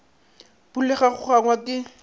phulega go go angwa ke